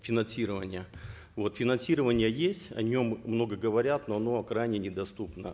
финансирование вот финансирование есть о нем много говорят но оно крайне недоступно